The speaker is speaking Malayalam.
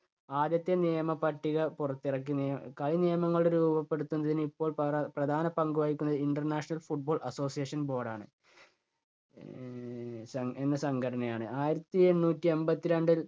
ആദ്യത്തെ നിയമ പട്ടിക പുറത്തിറക്കി. ഏ കളി നിയമങ്ങളുടെ രൂപപ്പെടുത്തുന്നതിന് ഇപ്പോൾ പ്ര~പ്രധാന പങ്കുവഹിക്കുന്നത് international football association board ആണ്. ഏഹ് എ~എന്ന സംഘടനയാണ്. ആയിരത്തിഎണ്ണൂറ്റി എൺപത്തിരണ്ടിൽ